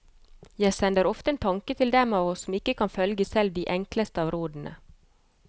Jeg sender ofte en tanke til dem av oss som ikke kan følge selv de enkleste av rådene.